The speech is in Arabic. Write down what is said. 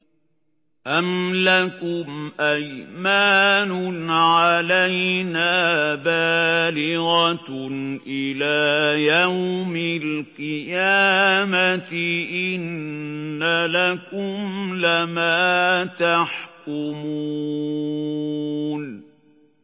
أَمْ لَكُمْ أَيْمَانٌ عَلَيْنَا بَالِغَةٌ إِلَىٰ يَوْمِ الْقِيَامَةِ ۙ إِنَّ لَكُمْ لَمَا تَحْكُمُونَ